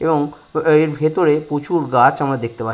এবং এর ভিতরে প্রচুর আমরা গাছ দেখতে পাচ --